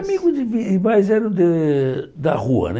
Amigos de, mas eram de da rua, né?